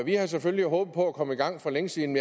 vi havde selvfølgelig håbet på at komme i gang for længe siden